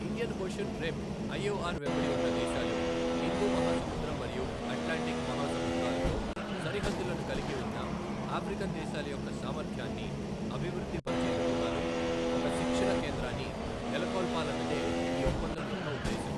Indian Ocean Rim IOR వెంబడి ఉన్న దేశాలు, హిందూ మహాసముద్రం మరియు అట్లాంటిక్ మహాసముద్రాలతో సరిహద్దులను కలిగి ఉన్న ఆఫ్రికన్ దేశాల యొక్క సామర్ధ్యాన్ని అభివృద్ధి పరచేందుకు గాను ఒక శిక్షణ కేంద్రాన్ని నెలకొల్పాన్నదే ఈ ఒప్పందం యొక్క ఉద్దేశం.